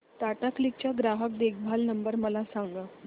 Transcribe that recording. Tata Cliq चा ग्राहक देखभाल नंबर मला सांगा